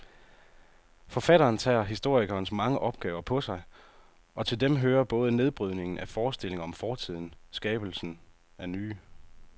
Forfatteren tager historikerens mange opgaver på sig, og til dem hører både nedbrydningen af forestillinger om fortiden skabelsen af nye.